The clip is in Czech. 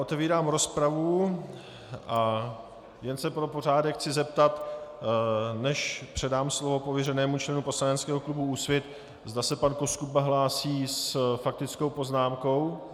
Otevírám rozpravu a jen se pro pořádek chci zeptat, než předám slovo pověřenému členu poslaneckého klubu Úsvit, zda se pan Koskuba hlásí s faktickou poznámkou.